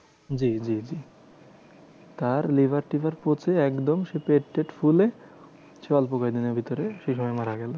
জি জি জি তার লিভার টিভার পচে একদম সে পেট টেট ফুলে সে অল্প কয়েকদিনের ভিতরে সেইভাবে মারা গেলো।